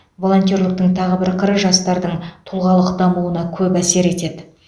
волонтерліктің тағы бір қыры жастардың тұлғалық дамуына көп әсер етеді